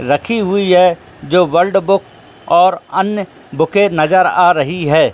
रखी हुई हैवर्ल्ड बुक अन्य बुके नजर आ रही है।